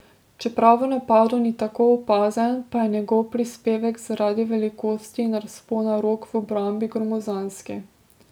Čeprav v napadu ni tako opazen, pa je njegov prispevek zaradi velikosti in razpona rok v obrambi gromozanski.